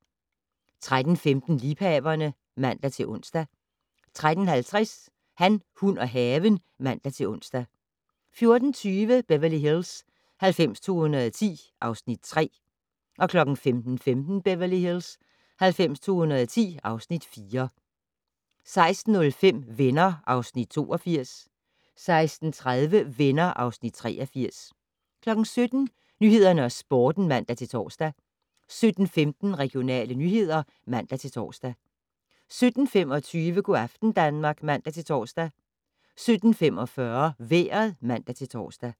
13:15: Liebhaverne (man-ons) 13:50: Han, hun og haven (man-ons) 14:20: Beverly Hills 90210 (Afs. 3) 15:15: Beverly Hills 90210 (Afs. 4) 16:05: Venner (Afs. 82) 16:30: Venner (Afs. 83) 17:00: Nyhederne og Sporten (man-tor) 17:15: Regionale nyheder (man-tor) 17:25: Go' aften Danmark (man-tor) 17:45: Vejret (man-tor)